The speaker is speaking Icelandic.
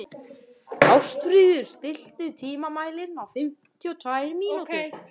Ástfríður, stilltu tímamælinn á fimmtíu og tvær mínútur.